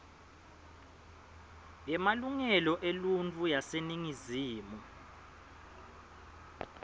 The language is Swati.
yemalungelo eluntfu yaseningizimu